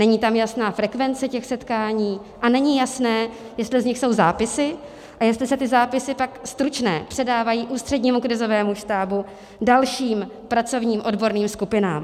Není tam jasná frekvence těch setkání a není jasné, jestli z nich jsou zápisy a jestli se ty zápisy pak stručné předávají Ústřednímu krizovému štábu, dalším pracovním odborným skupinám.